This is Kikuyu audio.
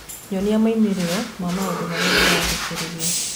nyonia moimĩrĩro ma maũndũ marĩa ndirathikĩrĩria